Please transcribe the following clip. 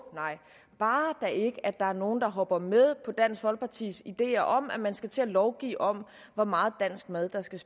nej bare der ikke er nogen der hopper med på dansk folkepartis ideer om at man skal til at lovgive om hvor meget dansk mad der skal